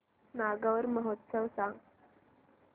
नागौर महोत्सव सांग